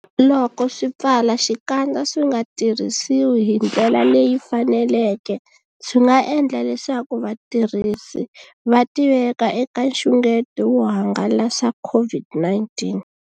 Loko swipfalaxikandza swi nga tirhisiwi hi ndlela leyi faneleke, swi nga endla leswaku vatirhisi va tiveka eka nxungeto wo hangalasa COVID-19.